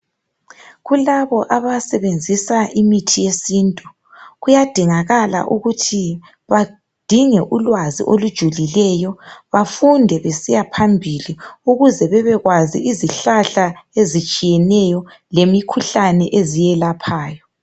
Kulabo abasebenzisa imithi yesintu kuyadingakala ukuthi badinge ulwazi olujulileyo bafunde besiya phambili ukuze bebekwazi izihlahla ezitshiyeneyo lemikhuhlane eziyelaphayo.